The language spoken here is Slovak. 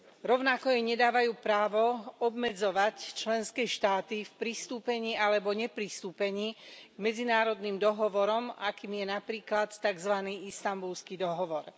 Rovnako jej nedávajú právo obmedzovať členské štáty v pristúpení alebo nepristúpení k medzinárodným dohovorom, akým je napríklad takzvaný Istanbulský dohovor.